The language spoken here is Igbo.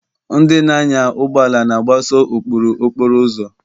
Ndị na-anya ụgbọ ala na-agbaso ụkpụrụ okporo ụzọ.